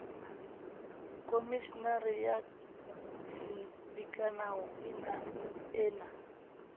khomeshenara ya dikanao e na